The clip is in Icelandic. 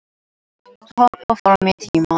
Hoppa fram í tímann